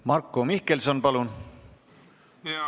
Marko Mihkelson, palun!